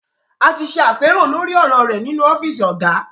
A ti ṣe àpérò lórí ọ̀rọ̀ rẹ nínú ọ́fíìsì Ọ̀gá